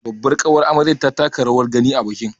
Babbar ƙawar amaryar ta taka rawar gani a bikin